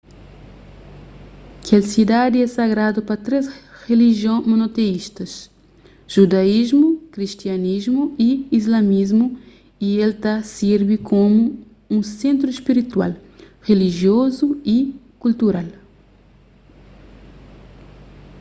kel sidadi é sagradu pa três rilijion monoteístas judaísmu kristianismu y islamismu y el ta sirbi komu un sentru spiritual rilijiozu y kultural